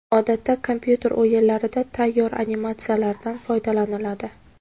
Odatda kompyuter o‘yinlarida tayyor animatsiyalardan foydalaniladi.